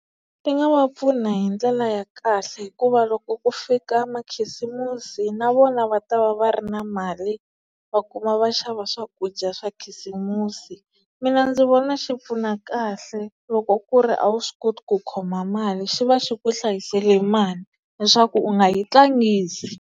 Ti nga va pfuna hi ndlela ya kahle hikuva loko ku fika makhisimusi na vona va ta va va ri na mali va kuma va xava swakudya swa khisimusi mina ndzi vona xi pfuna kahle loko ku ri a wu swi koti ku khoma mali xi va xi ku hlayisele mali leswaku u nga yi tlangisi.